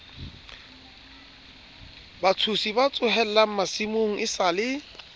batshosi ba tsohellang masimong esale